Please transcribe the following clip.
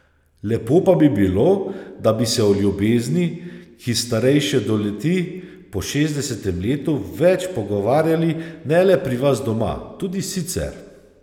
Lepo pa bi bilo, da bi se o ljubezni, ki starejše doleti po šestdesetem letu, več pogovarjali ne le pri vas doma, tudi sicer.